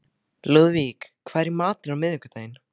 Lúðvík, hvað er í matinn á miðvikudaginn?